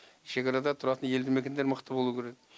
шекарада тұратын елді мекендер мықты болу керек